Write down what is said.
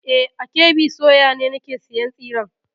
E, a KB soya ne nake sayan tsiren.